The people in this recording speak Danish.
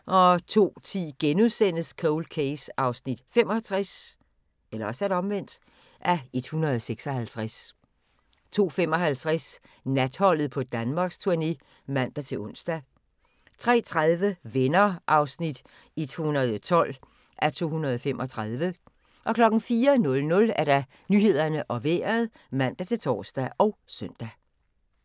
02:10: Cold Case (65:156)* 02:55: Natholdet på Danmarksturné (man-ons) 03:30: Venner (112:235) 04:00: Nyhederne og Vejret (man-tor og søn)